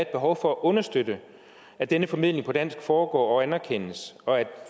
behov for at understøtte at denne formidling på dansk foregår og anerkendes og at